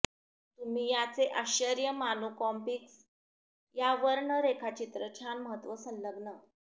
तुम्ही याचे आश्चर्य मानू कॉमिक्स या वर्ण रेखाचित्र छान महत्त्व संलग्न